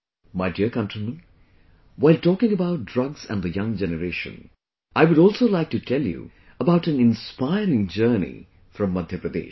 My dear countrymen, while talking about drugs and the young generation, I would also like to tell you about an inspiring journey from Madhya Pradesh